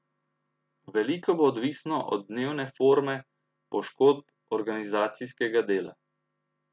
Veliko bo odvisno od dnevne forme, poškodb, organizacijskega dela.